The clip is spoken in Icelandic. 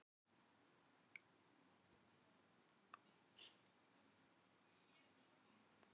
Ýtti við henni og leit inn í bakherbergið.